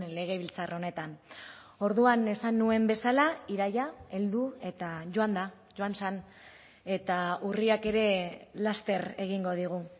legebiltzar honetan orduan esan nuen bezala iraila heldu eta joan da joan zen eta urriak ere laster egingo digu